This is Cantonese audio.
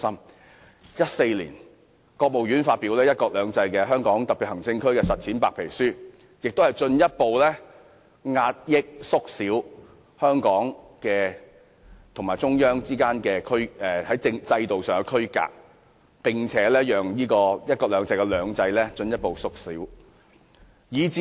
國務院於2014年發表《"一國兩制"在香港特別行政區的實踐》白皮書，進一步壓抑、縮小香港與中央之間在制度上的區隔，並使"一國兩制"中的"兩制"進一步縮小。